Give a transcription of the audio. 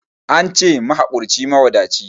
Ance mahakurci mawadaci